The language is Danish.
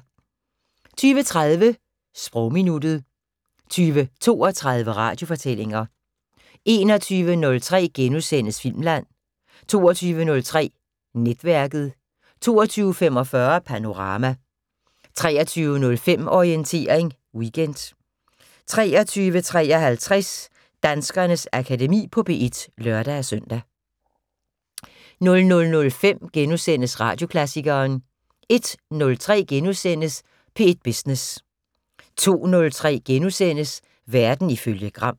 20:30: Sprogminuttet 20:32: Radiofortællinger 21:03: Filmland * 22:03: Netværket 22:45: Panorama 23:05: Orientering Weekend 23:53: Danskernes Akademi på P1 (lør-søn) 00:05: Radioklassikeren * 01:03: P1 Business * 02:03: Verden ifølge Gram *